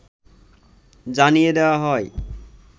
জানিয়ে দেওয়া হয়